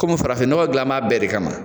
Komi farafinɲɔgɔn gilan b'a bɛɛ de kama.